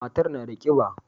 Matar na da kiba.